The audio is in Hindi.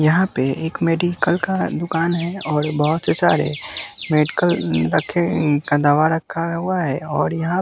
यहाँ पे एक मेडिकल का दुकान है और बहुत से सारे मेडिकल रखे का दवा रखा हुआ है और यहाँ--